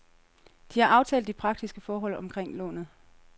De har aftalt de praktiske forhold omkring lånet.